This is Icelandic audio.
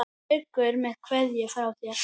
Haukur með kveðju frá þér.